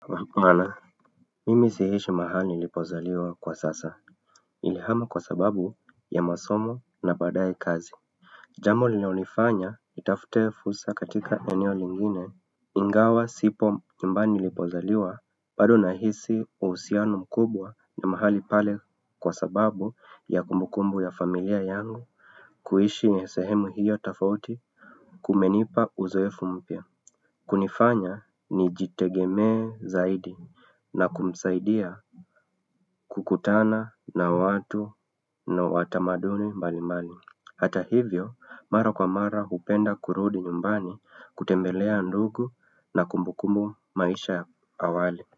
Hapana, mimi siishi mahali nilipozaliwa kwa sasa nilihama kwa sababu ya masomo na baadaye kazi Jambo linalonifanya nitafute fursa katika eneo lingine Ingawa sipo nyumbani nilipozaliwa bado nahisi uhusiano mkubwa na mahali pale kwa sababu ya kumbukumbu ya familia yangu kuishi sehemu hiyo tofauti kumenipa uzoefu mpya kunifanya nijitegeme zaidi na kumsaidia kukutana na watu na watamaduni mbali mbali Hata hivyo mara kwa mara hupenda kurudi nyumbani kutembelea ndugu na kumbukumbu maisha ya awali.